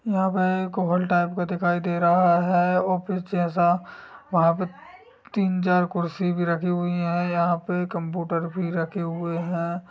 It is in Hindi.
यहाँ पे एक हॉल टाइप का दिखाई दे रहा है। ऑफिस जैसा वहाँ पे तीन चार कुर्सी भी रखी हुई हैं। यहाँ पे कंप्यूटर भी रखे हुऐ हैं।